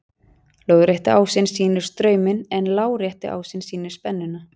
Lóðrétti ásinn sýnir strauminn en lárétti ásinn sýnir spennuna.